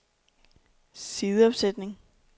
sideopsætning